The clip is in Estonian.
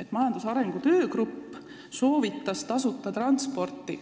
et majandusarengu töögrupp soovitas maapiirkondades tasuta transporti.